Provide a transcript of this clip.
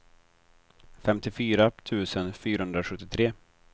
femtiofyra tusen fyrahundrasjuttiotre